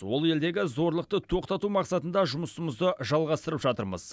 ол елдегі зорлықты тоқтату мақсатында жұмысымызды жалғастырып жатырмыз